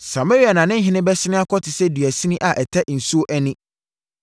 Samaria na ne ɔhene bɛsene akɔ te sɛ dua sini a ɛtɛ nsuo ani.